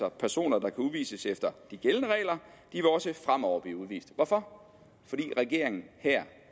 at personer der kan udvises efter de gældende regler også fremover vil blive udvist hvorfor fordi regeringen her